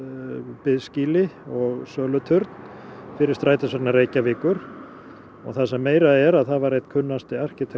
biðskýli og söluturn fyrir Strætisvagna Reykjavíkur og það sem meira er að það var einn kunnasti arkitekt